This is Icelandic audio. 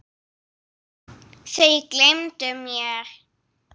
Þau gleymdu mér.